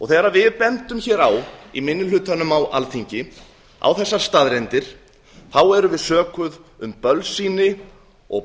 þegar við í minni hlutanum á alþingi bendum hér á þessar staðreyndir erum við sökuð um bölsýni og